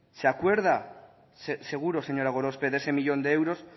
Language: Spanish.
se acuerda seguro señora gorospe de ese uno millón de euros